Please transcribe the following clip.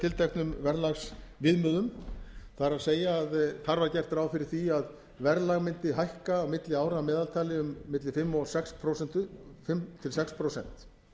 tilteknum verðlagsviðmiðum það er að þar var gert ráð fyrir því að verðlag mundi hækka á milli ára að meðaltali um milli fimm til sex prósent